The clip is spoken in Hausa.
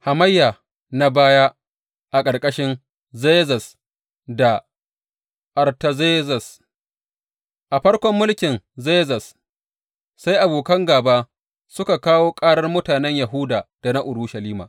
Hamayya na baya a ƙarƙashin Zerzes da Artazerzes A farkon mulkin Zerzes, sai abokan gāba suka kawo ƙarar mutanen Yahuda da na Urushalima.